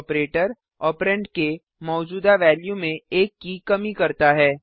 operator operand के मौजूदा value में एक की कमी करता है